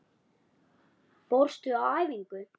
Fórstu á æfingu?